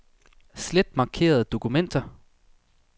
Slet markerede dokumenter.